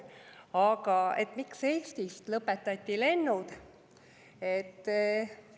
Aga miks Eestist lõpetati lennud?